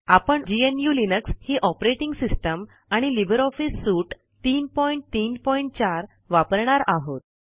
आपण GNU Linux ही operating system आणि लिब्रे ऑफिस सूट 334 वापरणार आहोत